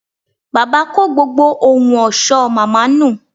Bàbá kó gbogbo ohun ọ̀ṣọ́ màmá nù